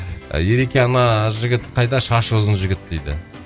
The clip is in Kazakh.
ереке ана жігіт қайда шашы ұзын жігіт дейді